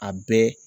A bɛɛ